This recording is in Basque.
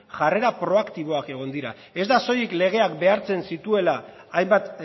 jarrera proaktiboak egon dira ez da soilik legeak behartzen zituela hainbat